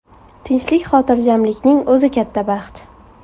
Tinchlik-xotirjamlikning o‘zi katta baxt”.